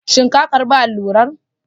Shin ka karba allurar?